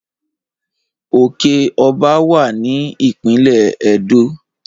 Òke Ọba wá ní ìpínlè ẹdọ